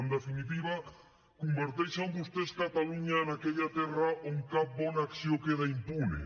en definitiva converteixen vostès catalunya en aquella terra on cap bona acció queda impune